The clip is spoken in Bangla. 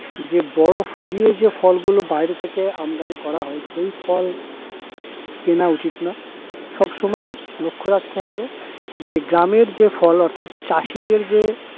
যে বরফ দিয়ে যে ফলগুলো বাইরে থেকে আমদানি করা হয়, সেই ফল কেনা উচিত না সবসময়ই লক্ষ্য রাখতে হবে যে গ্রামের যে ফল অর্থাৎ চাষিদের যে